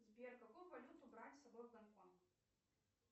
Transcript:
сбер какую валюту брать с собой в гонконг